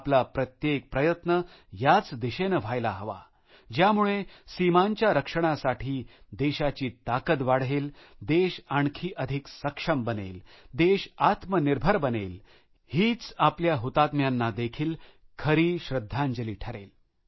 आपला प्रत्येक प्रयत्न याच दिशेने व्हायला हवा ज्यामुळे सीमांच्या रक्षणासाठी देशाची ताकद वाढेल देश अधिक सक्षम बनेल देश आत्मनिर्भर बनेलहीच आपल्या हुतात्म्यांना देखील खरी श्रद्धांजली ठरेल